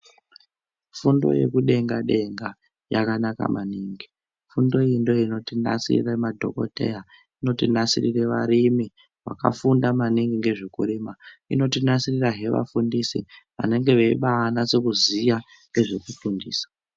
Fundo yekudenga denga yakanaka maningi, fundo iyi ndoinotinasirire madhokoteya, inotinasirire varimi vakafunda maningi ngezvekurima, inotinasirira hee vafundisi vanenge veibanase kuziya ngezvekufundisa.